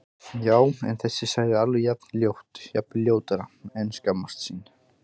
Já- en þessi sagði alveg jafn ljótt, jafnvel ljótara En að skammast sín?